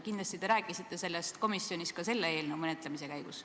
Kindlasti te rääkisite sellest komisjonis ka selle eelnõu menetlemise käigus.